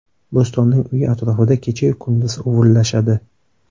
Bo‘stonning uyi atrofida kecha-yu kunduz uvillashadi.